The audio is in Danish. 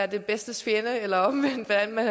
det bedstes fjende eller omvendt hvordan man